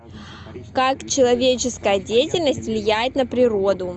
как человеческая деятельность влияет на природу